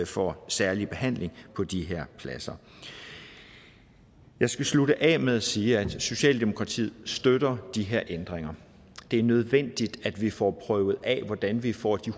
for særlig behandling på de her pladser jeg skal slutte af med at sige at socialdemokratiet støtter de her ændringer det er nødvendigt at vi får prøvet af hvordan vi får de